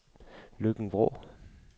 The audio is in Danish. Løkken-Vrå